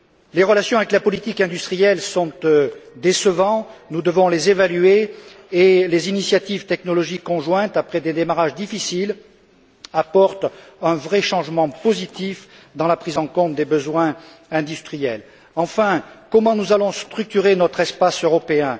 Les relations avec la politique industrielle sont décevantes, nous devons les évaluer, et les initiatives technologiques conjointes, après des démarrages difficiles, apportent un vrai changement positif dans la prise en compte des besoins industriels. Enfin, comment allons nous structurer notre espace européen?